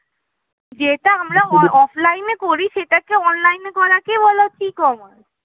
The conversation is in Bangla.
যেটা আমরা offline এ করি সেটাকে online এ করাকে বলা হচ্ছে ecommerce